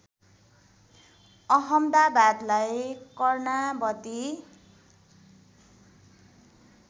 अहमदाबादलाई Karnavati